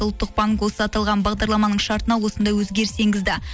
ұлттық банк осы аталған бағдарламаның шартына осындай өзгеріс енгізді